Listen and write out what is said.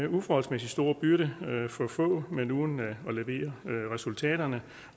uforholdsmæssig stor byrde for få men uden at levere resultaterne